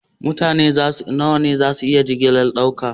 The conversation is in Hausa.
Mutane nawa jirgi zai iya ɗauka?